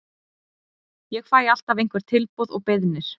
Ég fæ alltaf einhver tilboð og beiðnir.